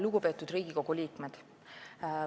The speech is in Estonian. Lugupeetud Riigikogu liikmed!